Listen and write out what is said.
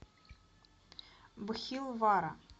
бхилвара